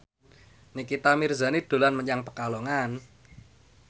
Nikita Mirzani dolan menyang Pekalongan